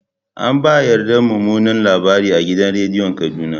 An ba yarda mumunan labari a gidan rediyon Kaduna.